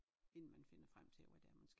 Inden man finder frem til hvad det er man skal